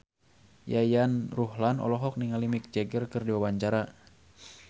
Yayan Ruhlan olohok ningali Mick Jagger keur diwawancara